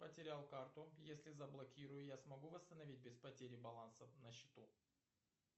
потерял карту если заблокирую я смогу восстановить без потери баланса на счету